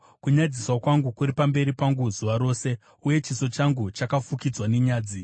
Kunyadziswa kwangu kuri pamberi pangu zuva rose, uye chiso changu chafukidzwa nenyadzi